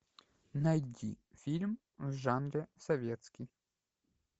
найди фильм в жанре советский